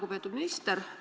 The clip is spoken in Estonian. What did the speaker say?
Lugupeetud minister!